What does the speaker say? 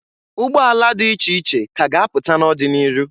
Ụgbọala dị iche ka a ga-apụta n'ọdị n'iru.